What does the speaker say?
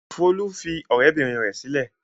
Folú fi ọ̀rẹ́bìnrin rẹ̀ sílẹ̀.